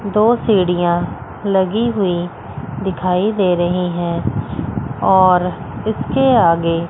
दो सीढियां लगी हुई दिखाई दे रही हैं और इसके आगे--